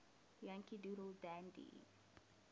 yankee doodle dandy